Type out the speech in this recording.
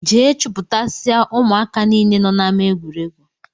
Jee chuputasia ụmụaka niile nọ n'ama egwuregwu!!!